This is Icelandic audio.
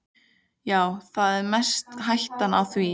Já, það er mest hættan á því.